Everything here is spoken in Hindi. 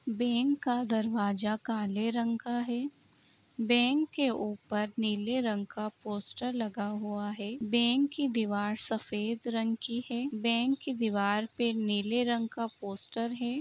बेंक का दरवाजा काले रंग का का है। बैंक के ऊपर नीले रंग का पोस्टर लगा हुआ है। बैंक की दीवार सफेद रंग की है बैंक की दीवार पे नीले रंग का पोस्टर है।